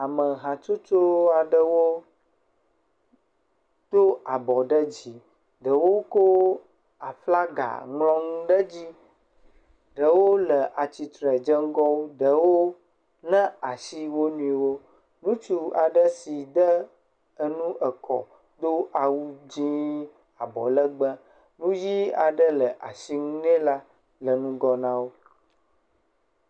Ame hatsotso aɖewo do abɔ ɖe dzi ɖewo kɔ aflga ŋlɔ nu ɖe edzi ɖewo le atsitre dzeŋgɔwo, ɖewo na asi wo nɔewo. Ŋutsui aɖe si de enu eke do awu dzɛ̃ abɔlegbe nuʋi aɖe le asi ŋu nɛ la le ŋgɔ na wo.